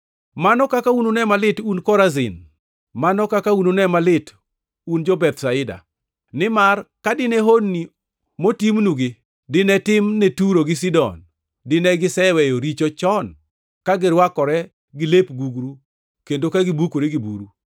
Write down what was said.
“Mano kaka unune malit un jo-Korazin! Mano kaka unune malit, un jo-Bethsaida! Nimar ka dine honni motimnugi dinetim ne Turo gi Sidon to dine giseweyo richo chon ka girwakore gi lep gugru kendo ka gibukore gi buru.